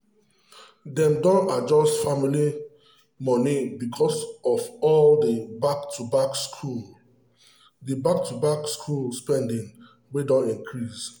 dem don adjust family money because of all the back-to-school the back-to-school spending wey don increase.